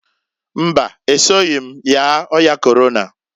Mbaǃ Esoghi yaa ọya Korona.